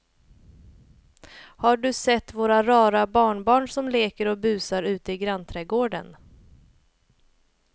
Har du sett våra rara barnbarn som leker och busar ute i grannträdgården!